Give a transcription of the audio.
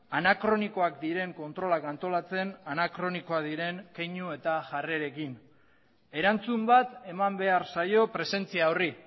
anakronikoak diren kontrolak antolatzen anakronikoak diren keinu eta jarrerekin erantzun bat eman behar zaio presentzia horri